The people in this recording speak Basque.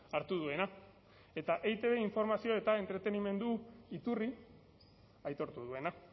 hartu duena eta eitb informazio eta entretenimendu iturri aitortu duena